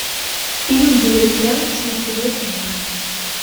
фильм дивергент смотреть онлайн